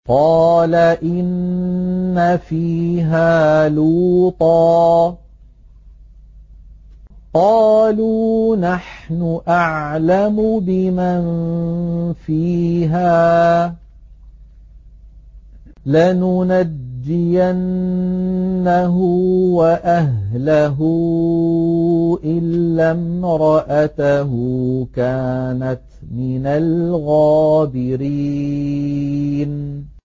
قَالَ إِنَّ فِيهَا لُوطًا ۚ قَالُوا نَحْنُ أَعْلَمُ بِمَن فِيهَا ۖ لَنُنَجِّيَنَّهُ وَأَهْلَهُ إِلَّا امْرَأَتَهُ كَانَتْ مِنَ الْغَابِرِينَ